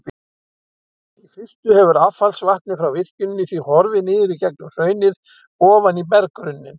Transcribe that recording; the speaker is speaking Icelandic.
Í fyrstu hefur affallsvatnið frá virkjuninni því horfið niður í gegnum hraunið ofan í berggrunninn.